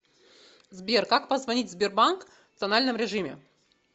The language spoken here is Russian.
сбер как позвонить в сбербанк в тональном режиме